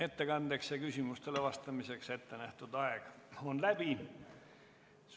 Ettekandeks ja küsimustele vastamiseks ette nähtud aeg on läbi.